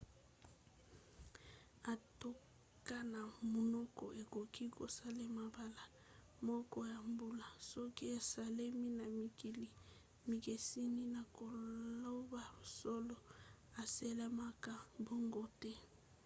atako na munoko ekoki kosalema mbala moko na mbula soki esalemi na mikili mikeseni na koloba solo esalemaka bongo te